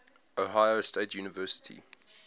ohio state university